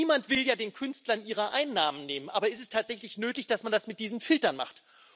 Niemand will ja den Künstlern ihre Einnahmen nehmen, aber ist es tatsächlich nötig, dass man das mit diesen Filtern macht?